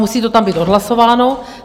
Musí to tam být odhlasováno.